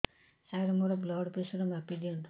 ସାର ମୋର blood pressure ମାପି ଦିଅନ୍ତୁ